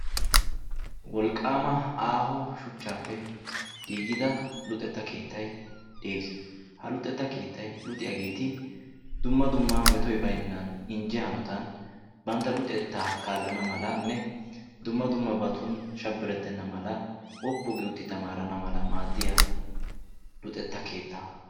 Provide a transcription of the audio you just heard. Wolqqaama aaho shuchchaappe giigida luxetta keettay de'ees. Ha luxetta keettay luxiyageeti dumma dumma metoy baynan injje hanotan bantta luxetta kaallana malanne dumma dummabappe shabbirettenna mala woppu gi uttidi tamaarana mala maaddiya luxetta keetta.